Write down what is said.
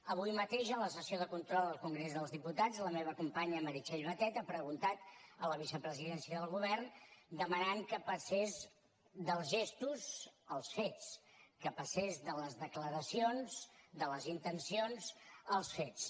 avui mateix en la sessió de control al congrés dels diputats la meva companya meritxell batet ha preguntat a la vicepresidència del govern i ha demanat que passés dels gestos als fets que passés de les declaracions de les intencions als fets